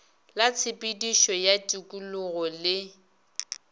la tshepedišo ya tikologo le